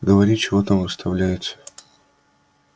говори чего там выставляется